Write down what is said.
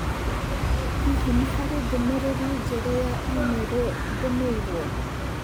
Hihi nĩ harĩ ndũmĩrĩri njerũ ya i-mīrū ndũmĩirũo?